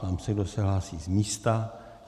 Ptám se, kdo se hlásí z místa.